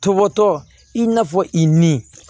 Tɔbɔtɔ i n'a fɔ i ni